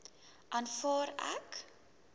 aanvaar ek